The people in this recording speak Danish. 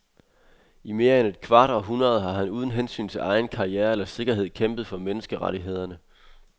I mere end et kvart århundrede har han uden hensyn til egen karriere eller sikkerhed kæmpet for menneskerettighederne.